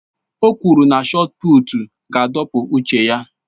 O kwuru na shọọt pụụtu ga-adọpụ uche ya